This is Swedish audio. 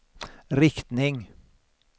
riktning